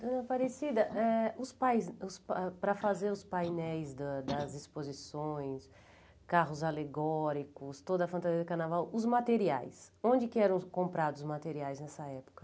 Dona Aparecida, eh os pais os pa ah para fazer os painéis da das exposições, carros alegóricos, toda a fantasia do carnaval, os materiais, onde que eram comprados os materiais nessa época?